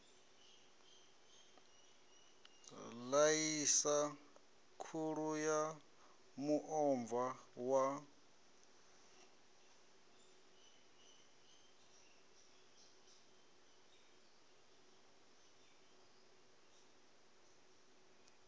ḽaisa khula ya muomva wa